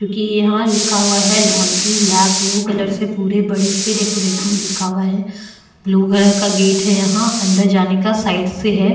क्यूंकि यहाँ लिखा हुआ है लांड्री लॅब ब्लू कलर से पूरे बड़े से डेकोरेट में लिखा हुआ है ब्लू कलर का गेट है यहाँ अन्दर जाने का साइड से है।